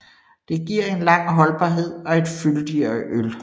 Det giver en lang holdbarhed og et fyldigere øl